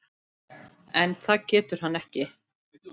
En það getur hann ekki.